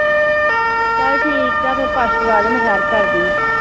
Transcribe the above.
ਚਲ ਠੀਕ ਆ ਫਿਰ ਆਗਿਆ ਮੈ ਠੇਹਰ ਕੇ ਕਰਦੀ ਆ।